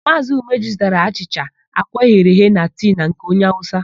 Maazị Umeji zụtara achịcha, àkwá eghere eghe na tii na nke onye Awụsa.